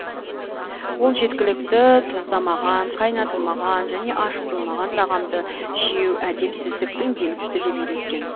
ол жеткілікті тұздамаған қайнатылмаған және ашытылмаған тағамды жеу әдепсіздіктің белгісі деп үйреткен